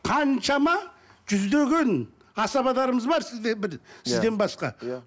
қаншама жүздеген асабаларымыз бар сізде бір сізден басқа иә